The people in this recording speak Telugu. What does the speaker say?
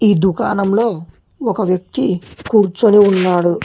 ఈ దుకాణంలో ఒక వ్యక్తి కూర్చొని ఉన్నాడు.